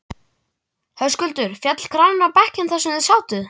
Höskuldur: Féll kraninn á bekkinn þar sem þið sátuð?